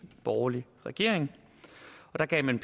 borgerlig regering og der gav man